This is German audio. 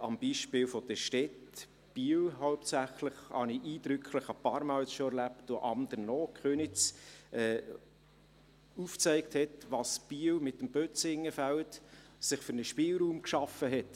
am Beispiel der Städte Biel hauptsächlich – dies habe ich ein paar Mal schon eindrücklich erlebt – und anderen auch, Köniz, aufgezeigt hat, welchen Spielraum sich Biel mit dem Bözingenfeld geschaffen hat.